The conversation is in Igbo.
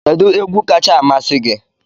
Kedu egwu kacha amasị gị?